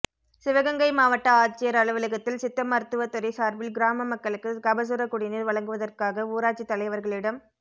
சிவகங்கை மாவட்ட ஆட்சியர் அலுவலகத்தில் சித்த மருத்துவத்துறை சார்பில் கிராம மக்களுக்கு கபசுரக் குடிநீர் வழங்குவதற்காக ஊராட்சித் தலைவர்களிடம்